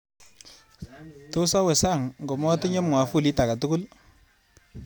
Tos awe sang ngomatinye mwafulit agetugul